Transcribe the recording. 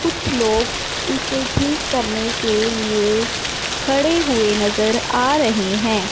कुछ लोग उसे ठीक करने के लिए खड़े हुए नजर आ रहे हैं।